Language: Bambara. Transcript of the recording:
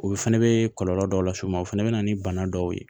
O fɛnɛ be kɔlɔlɔ dɔw lase u ma o fɛnɛ be na ni bana dɔw ye